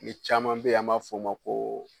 Ni caman bɛ yen an b'a fɔ o ma ko